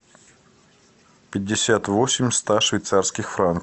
пятьдесят восемь ста швейцарских франков